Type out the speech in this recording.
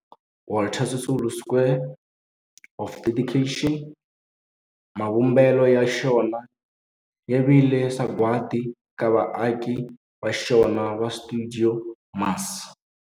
Walter Sisulu Square of Dedication, mavumbelo ya xona ya vile sagwadi eka vaaki va xona va stuidio MAS.